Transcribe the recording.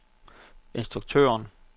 instruktøren